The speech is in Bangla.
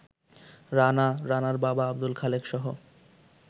রানা, রানার বাবা আব্দুল খালেকসহ